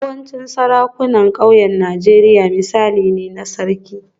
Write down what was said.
Yawancin sarakunan ƙauyen Najeriya misali ne na Sarki